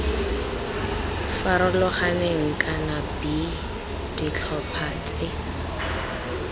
farologaneng kana b ditlhopha tse